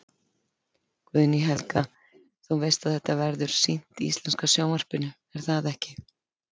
Guðný Helga: Þú veist að þetta verður sýnt í íslenska sjónvarpinu, er það ekki?